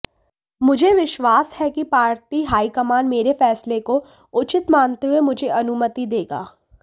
मुझे विश्वास है कि पार्टी हाईकमान मेरे फैसले को उचित मानते हुए मुझे अनुमति देगा